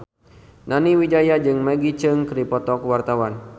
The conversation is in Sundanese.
Nani Wijaya jeung Maggie Cheung keur dipoto ku wartawan